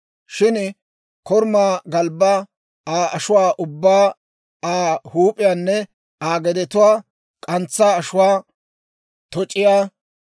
Shin korumaa galbbaa, Aa ashuwaa ubbaa, Aa huup'iyaanne, Aa gedetuwaa, k'antsaa ashuwaa, toc'iyaa,